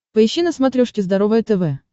поищи на смотрешке здоровое тв